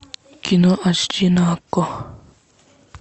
кино аш ди на окко